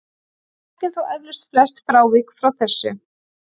Við þekkjum þó eflaust flest frávik frá þessu.